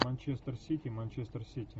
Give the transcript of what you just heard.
манчестер сити манчестер сити